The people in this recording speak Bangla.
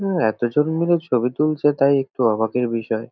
হু এতজন মিলে ছবি তুলছে তাই একটু অবাকের বিষয়।